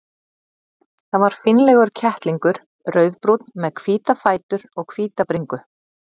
Það var fínlegur kettlingur, rauðbrúnn með hvíta fætur og hvíta bringu.